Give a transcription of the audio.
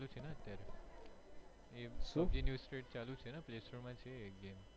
ચાલુ છે ને અત્યારે play store માં છે એક game